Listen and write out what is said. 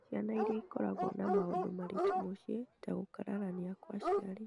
Ciana iria ikoragwo na maũndũ maritũ mũciĩ ta gũkararania kwa aciari,